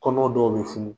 Kɔnɔ dɔw bɛ funu